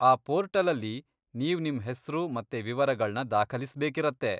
ಆ ಪೋರ್ಟಲಲ್ಲಿ ನೀವ್ ನಿಮ್ ಹೆಸ್ರು ಮತ್ತೆ ವಿವರಗಳ್ನ ದಾಖಲಿಸ್ಬೇಕಿರತ್ತೆ.